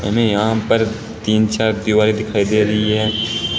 हमें यहां पर तीन चार दीवारें दिखाई दे रही है।